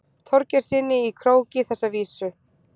Þorgeirssyni í Króki þessa vísu.